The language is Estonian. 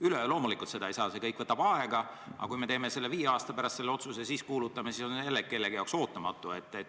Üleöö loomulikult seda ei saa, see kõik võtab aega, aga kui me teeme alles viie aasta pärast selle otsuse, siis võidaks kuulutada, et see on jälle kellegi jaoks ootamatu.